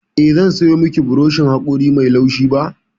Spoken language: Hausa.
Eh, zan sayo miki burushin haƙori mai laushi ba.